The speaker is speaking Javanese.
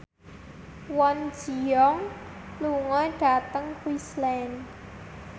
Kwon Ji Yong lunga dhateng Queensland